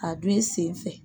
A don i sen fɛ